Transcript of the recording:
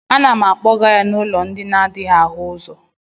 A na m akpọga ya n'ụlọ ndi n'adịghị áhù ụzọ